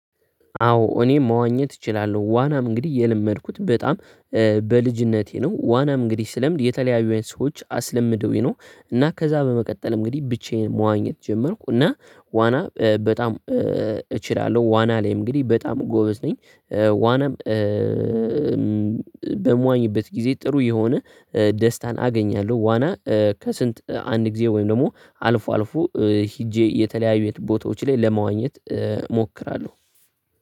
አዎ እኔም መዋኘት እችላለሁ ዋናም እንግዲህ የለመድኩት በጣም በልጅነቴ ነው ዋናም እንግዲህ ስለምድ የተለያዩ አይነት ሰዎች አስለምደውኝ ነው። እና ከዛ በመቀጠል እንግዲህ ብቻዬን መዋኘት ጀመርኩ እና ዋና በጣም እችላለሁ ዋና ላይ እንግዲህ በጣም ጎበዝ ነኝ። ዋናም በምዋኝበት ጊዜ ጥሩ የሆነ ደስታን አገኛለሁ። ዋና ከስንት አንድ ጊዜ ወይም ደግሞ አልፎ አልፎ ሄጄ የተለያዩ ቦታዎች ላይ ለመዋኘት እሞክራለሁ።